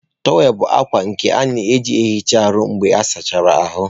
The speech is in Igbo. Tówel bụ akwa nke a na-eji na-ehicha ahụ mgbe ịsachara ahụ.